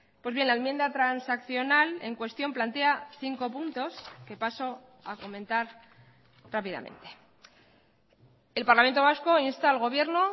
pues bien la enmienda transaccional en cuestión plantea cinco puntos que paso a comentar rápidamente el parlamento vasco insta al gobierno